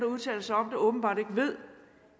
udtaler sig om det åbenbart ikke ved